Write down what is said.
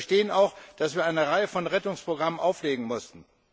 Sie verstehen auch, dass wir eine Reihe von Rettungsprogrammen auflegen mussten.